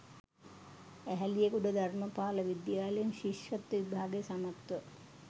ඇහැලියගොඩ ධර්මපාල විද්‍යාලයෙන් ශිෂ්‍යත්ව විභාගය සමත්ව